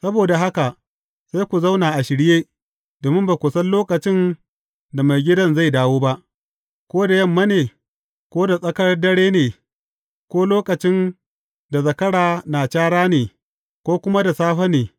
Saboda haka, sai ku zauna a shirye, domin ba ku san lokacin da maigidan zai dawo ba, ko da yamma ne, ko da tsakar dare ne, ko lokacin da zakara na cara ne, ko kuma da safe ne.